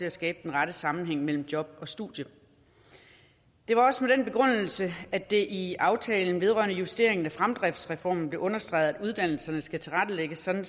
at skabe den rette sammenhæng mellem job og studie det var også med den begrundelse at det i aftalen vedrørende justering af fremdriftsreformen blev understreget at uddannelserne skal tilrettelægges sådan at